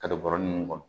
Ka don bɔrɔ nunnu kɔnɔ